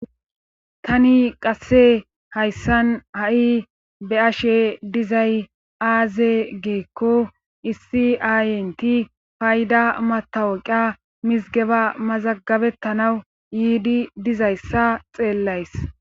Tani qasse hayssan ha7i be ashe dizay aaze geekko issi aayenti payda matawoqa mizgeba mazagabettanaw yiidi dizayssa xeellays.